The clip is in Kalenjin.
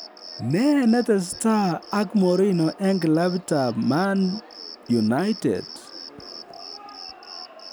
Nee ne tesetai ak Mourinho en kilabitab Man United?